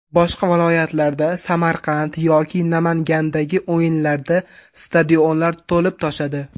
Boshqa viloyatlarda Samarqand yoki Namangandagi o‘yinlarda stadionlar to‘lib toshadi.